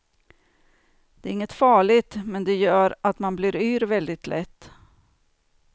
Det är inget farligt, men det gör att man blir yr väldigt lätt.